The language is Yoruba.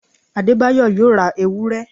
Adebayo yóò ra ewúré